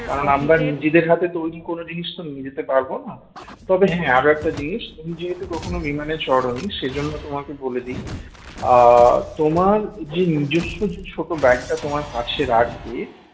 কারণ আমরা নিজেরদের হাতে তো তৈরি করার জিনিস নিয়ে যেতে পারবো না তবে হ্যাঁ আরো একটা জিনিস তুমি যেহেতু কখনো বিমানে চড়োনি সে জন্য তোমাকে বলে দি আহ তোমার যে নিজস্ব যে ছোট bag টা তোমার কাছে রাখবে